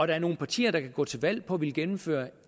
der er nogen partier der kan gå til valg på at ville gennemføre